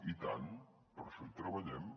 i tant per això hi treballem